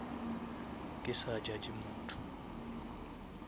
ke sa judge motho